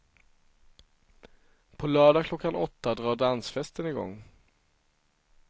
På lördag klockan åtta drar dansfesten igång.